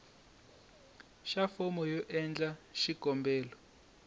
xa fomo yo endla xikombelo